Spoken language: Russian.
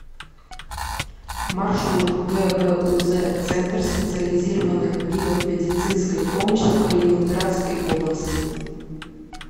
маршрут гбуз центр специализированных видов медицинской помощи калининградской области